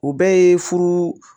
O bɛɛ ye furu